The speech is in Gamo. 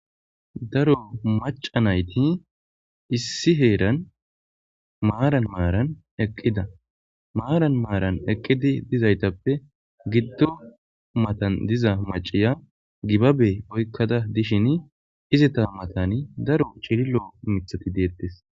Daro maca nayti issi heeran maaran maaran eqqida maaran maaran eqqidi dizaytappe giddo matan diza maciya gibabe oykkada dishin izita matani daro chililo mithati deettes.